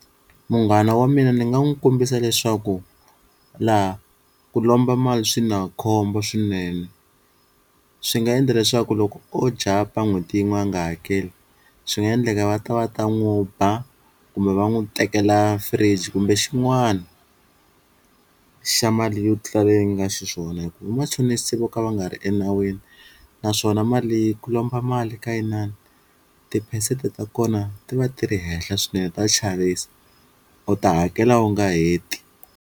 Munghana wa mina ni nga n'wi kombisa leswaku laha ku lomba mali swi na khombo swinene swi nga endla leswaku loko o jump-a n'hweti yin'we ya nga hakeli swi nga endleka va ta va ta n'wu ba kumbe va n'wi tekela fridge, kumbe xin'wana xa mali yo tlula leyi nga xiswona hi ku vamachonisa vo ka va nga ri enawini naswona mali ku lomba mali ka inani tiphesenti ta kona ti va ti ri henhla swinene ta chavisa u ta hakela u nga heti.